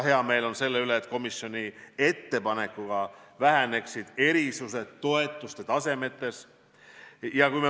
Hea meel on selle üle, et komisjoni ettepanek näeb ette, et väheneksid erisused toetuste tasemetes.